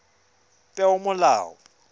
peomolao